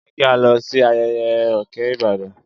Jẹ ki a lọ si ayẹyẹ Oke Ibadan.